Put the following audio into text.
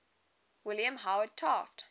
william howard taft